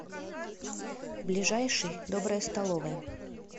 ближайший добрая столовая